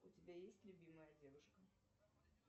у тебя есть любимая девушка